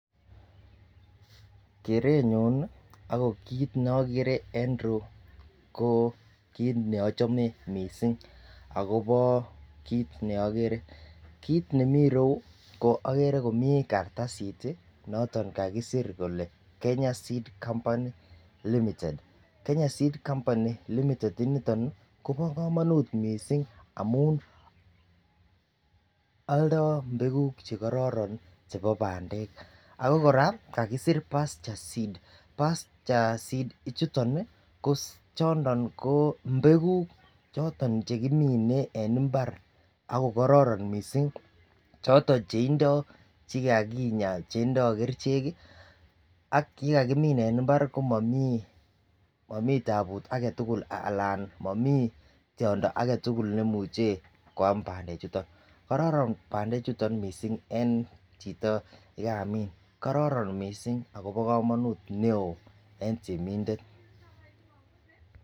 Kerenyun nii ako kit nokere en irou ko kit neochome missing akobo kit neokere, kit nemii royuu ko okere komii kartasit tii noton kakisir kole Kenya seed company limited. Kenya seed company limited Kobo komonut missing amun oldo mbekuk chekororon chebo pandek ako Koraa kakosir pasture seed. pasture seed ichuton nii ko chondo ko mbekuk choton chekimine en imbar choton cheindo chekakinya chetindo kerichek kii ak yekaimin en imbarbko komii tabut agetukul anan momii tyondo aketukul neimuche kwam pandek chuton. Kororon pandek chuton missing en chito nekamiin, kororon missing akobo komonut neo en temindet.